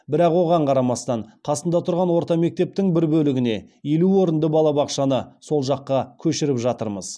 бірақ оған қарамастан қасында тұрған орта мектептің бір бөлігіне елу орынды балабақшаны сол жаққа көшіріп жатырмыз